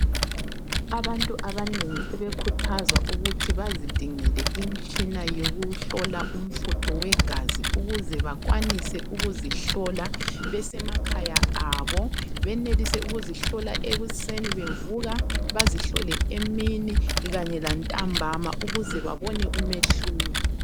Abantu abanengi sebekhuthazwa ukuthi bazidingele imtshina yokuhlola umfutho wegazi ukuze bakwanise ukuzihlola besemakhaya abo , benelise ukuzihlola ekuseni bevuka, bazihlole emini kanye lantambama ukuze babone umehluko.